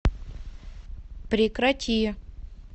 прекрати